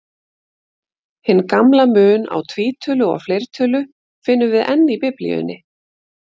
Hinn gamla mun á tvítölu og fleirtölu finnum við enn í Biblíunni.